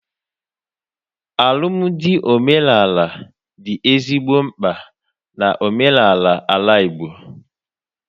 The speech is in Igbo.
Alụmdi omenala dị ezigbo mkpa na omenaala Ala Igbo